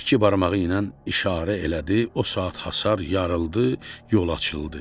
İki barmağı ilə işarə elədi, o saat hasar yarıldı, yol açıldı.